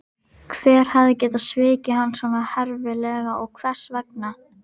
Hver hafði getað svikið hann svona herfilega og hvers vegna?